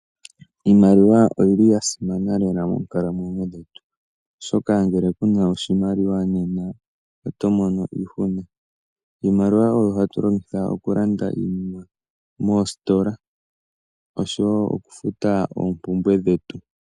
Iimaliwa oyili yasimana lela monkalamwenyo dhetu oshoka ngele kuna oshimaliwa nena otomono iihuna. Iimaliwa oyo hatulongitha okulanda iinima moositola osho wo okufuta oompumbwe dhetu.